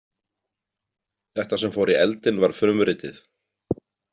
Þetta sem fór í eldinn var frumritið.